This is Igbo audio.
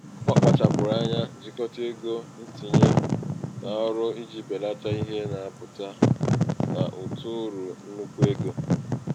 ọ kpachapụrụ anya jikọta ego ntinye n'ọrụ iji belata ihe na-apụta n'ụtụ uru nnukwu um ego.